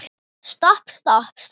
Stopp, stopp, stopp.